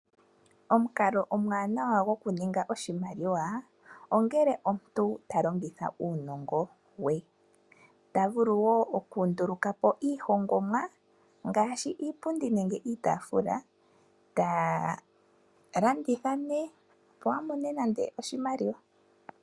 Omukalo omwaanawa gokuninga oshimaliwa, ongele omuntu ta longitha uunongo we. Ota vulu wo okundulukapo iihongomwa, ngaashi iipundi, nenge iitaafula, eta landitha nee, opo amone oshimaliwa.